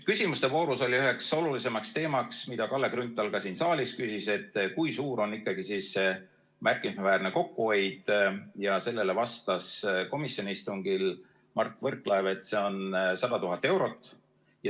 Küsimuste voorus oli üheks olulisemaks teemaks, mida Kalle Grünthal ka siin saalis küsis, et kui suur on ikkagi see märkimisväärne kokkuhoid, ja sellele vastas komisjoni istungil Mart Võrklaev, et see on 100 000 eurot.